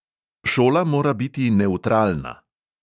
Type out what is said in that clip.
Šola mora biti nevtralna!